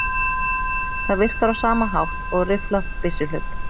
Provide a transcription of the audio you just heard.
Það virkar á sama hátt og rifflað byssuhlaup.